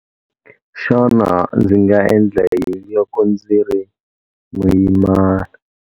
Xana ndzi nga endla yini loko ndzi ri muyimana?